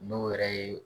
N'o yɛrɛ ye